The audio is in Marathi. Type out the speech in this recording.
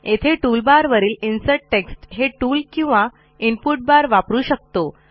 येथे टूलबारवरील इन्सर्ट टेक्स्ट हे टूल किंवा इनपुट बार वापरू शकतो